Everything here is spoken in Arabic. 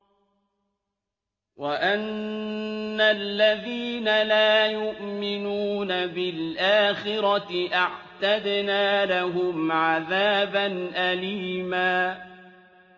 وَأَنَّ الَّذِينَ لَا يُؤْمِنُونَ بِالْآخِرَةِ أَعْتَدْنَا لَهُمْ عَذَابًا أَلِيمًا